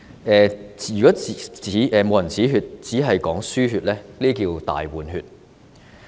如果不"止血"，只是"輸血"，結果就是"大換血"。